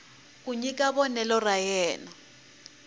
ku nyika vonelo ra yena